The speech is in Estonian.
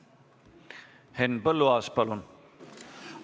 Henn Põlluaas, palun!